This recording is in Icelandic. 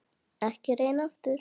Ekki að reyna aftur.